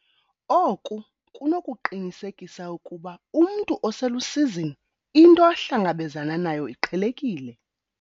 Oku kunokuqinisekisa ukuba umntu oselusizini into ahlangabezana nayo iqhelekile.